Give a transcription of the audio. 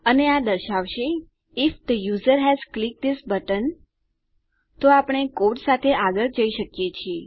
અને આ દર્શાવશે if the user has clicked this button તો આપણે કોડ સાથે આગળ જઈ શકીએ છીએ